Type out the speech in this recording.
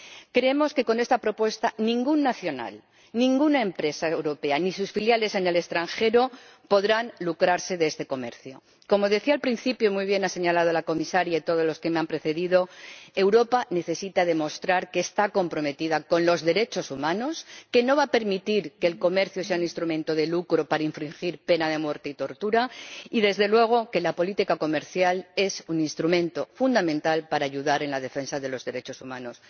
Creemos que con esta propuesta ningún nacional, ninguna empresa europea, ni sus filiales en el extranjero, podrán lucrarse con este comercio. Como decía al principio, y muy bien ha señalado la comisaria y todos los que me han precedido, Europa necesita demostrar que está comprometida con los derechos humanos, que no va a permitir que el comercio sea un instrumento de lucro para infligir pena de muerte y torturas, y, desde luego, que la política comercial es un instrumento fundamental para ayudar en la defensa de los derechos humanos.